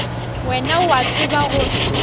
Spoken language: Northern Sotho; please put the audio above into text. wena o a tseba gore